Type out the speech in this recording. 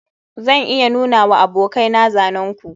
zan iya nunawa abokaina zanen ku